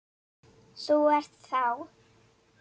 Þú ert þá?